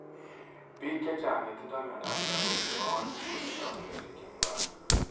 piik chechang chetindoi miando ap sugaruk nepo aeng kotindoi kiloishek chemii parak